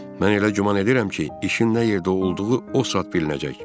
Mən elə güman edirəm ki, işin nə yerdə olduğu o saat bilinəcək.